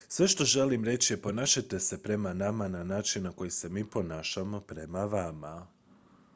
sve što želim reći je ponašajte se prema nama na način na koji se mi ponašamo prema vama